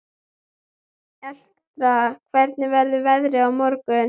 Elektra, hvernig verður veðrið á morgun?